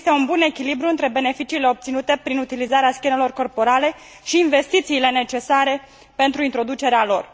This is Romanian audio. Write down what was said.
Să existe un bun echilibru între beneficiile obținute prin utilizarea scanerelor corporale și investițiile necesare pentru introducerea lor.